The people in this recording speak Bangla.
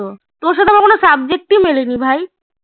তোর সাথে আমার কোনো subject ই মেলেনি ভাই